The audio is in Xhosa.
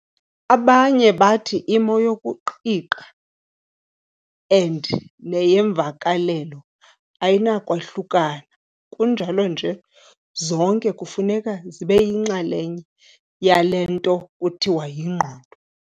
Abanye bathi imo yokuqiqa and neyeemvakalelo ayinakwahlukana kunjalo nje zonke kufuneka zibeyinxalenye yale nto kuthiwa yingqondo.